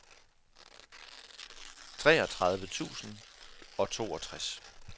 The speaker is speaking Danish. treogtredive tusind og toogtres